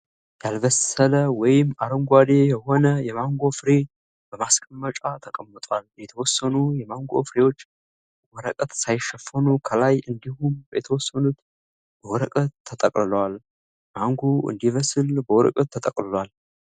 ያልበሰለ ወይም አረንጓዴ የህነ የማንጎ ፍሬ በማስቀመጫ ተቀምጧል። የተወሰኑ የማንጎ ፍሬዎች ወረቀት ሳይሸፈኑ ከላይ እንዲሁም የተወሰኑት በወረቀት ተጠቅልለዋል። ማንጎዉ እንዲበስል በወረቀት ተጠቅልሏል።